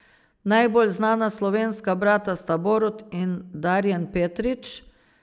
Najbolj znana slovenska brata sta Borut in Darjan Petrič.